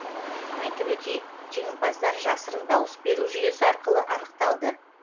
айтып өтейік жеңімпаздар жасырын дауыс беру жүйесі арқылы анықталды